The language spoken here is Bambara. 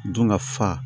Dun ka fa